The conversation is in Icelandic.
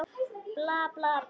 Bla, bla, bla.